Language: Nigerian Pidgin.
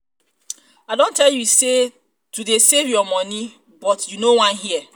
i don tell you to dey save your money but you no wan hear